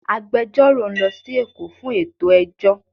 Agbẹjọ́rò ń lọ sí Èkó fún ètò ẹjọ́